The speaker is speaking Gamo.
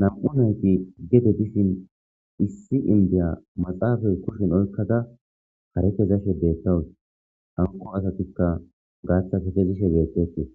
nam7u nayti gede dishin issi indiya maxaafay kushin oykkada hare kezashe deettawus hanqo asatikka gaatha ketezishe deettetii